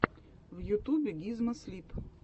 в ютубе гизмо слип